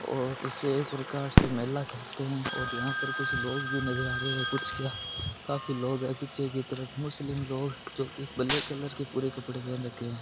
और इसे एक प्रकार मेला कहते है और यह कुछ लोग भी नजर आ रहै है कुछ क्या काफी लोग पीछे की तरफ मुस्लिम लोग जो की ब्लैक कलर के कपडे पहन रखे है।